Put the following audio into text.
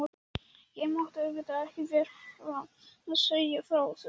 Ég mátti auðvitað ekki vera að segja frá þessu.